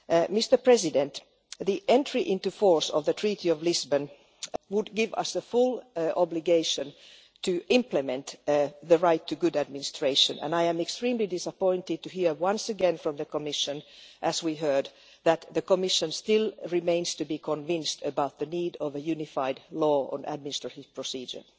Mr President, the entry into force of the Treaty of Lisbon would give us the full obligation to implement the right to good administration and I am extremely disappointed to hear once again from the Commission, as we heard, that the Commission still remains to be convinced about the need for a unified law on administrative procedure.